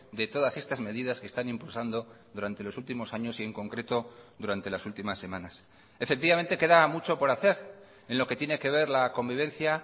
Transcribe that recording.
de todas estas medidas que están impulsando durante los últimos años y en concreto durante las últimas semanas efectivamente queda mucho por hacer en lo que tiene que ver la convivencia